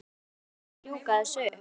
Vantar lykla til að ljúka þessu upp.